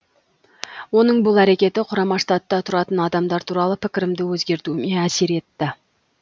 оның бұл әрекеті құрама штатта тұратын адамдар туралы пікірімді өзгертуіме әсер етті